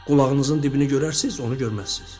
Qulağınızın dibini görərsiz, onu görməzsiz.